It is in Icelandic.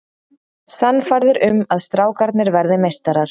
Sannfærður um að strákarnir verði meistarar